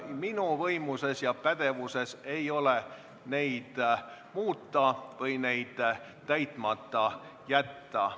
Minu võimuses ja pädevuses ei ole neid muuta ega täitmata jätta.